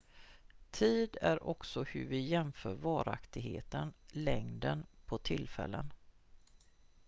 tid är också hur vi jämför varaktigheten längden på tillfällen